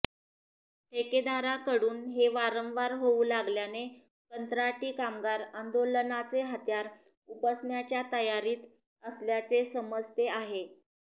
ठेकेदाराकडून हे वारंवार होऊ लागल्याने कंत्राटी कामगार आंदोलनाचे हत्यार उपसण्याच्या तयारीत असल्याचे समजते आहे